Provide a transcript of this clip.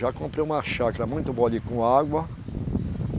Já comprei uma chácara muito boa ali com água.